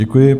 Děkuji.